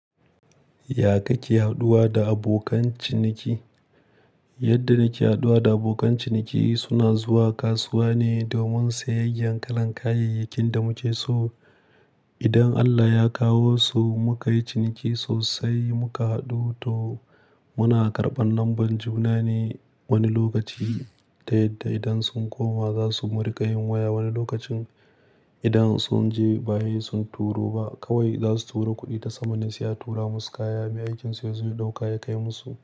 Ya ka ke haɗuwa da abokan ciniki? Yadda nake haɗuwa da abokan ciniki suna zuwa kasuwa ne domin sayayyan kalan kayayyakin da muke so. Idan Allah ya kawo su muka yi ciniki sosai muka haɗu to muna karɓan lamban juna ne wani lokaci ta yadda idan sun koma za su mu riƙa yin waya wani lokacin idan sun je ba sai sun turo ba kawai za su turo kuɗi ta sama ne sai a tura musu kayan. Mai aikin su yazo ya ɗauka ya kai musu.